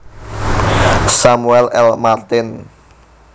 Samuel L Martin